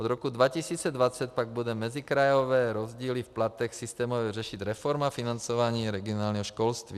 Od roku 2020 pak bude mezikrajové rozdíly v platech systémově řešit reforma financování regionálního školství.